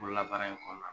Bolola baara in kɔnɔna na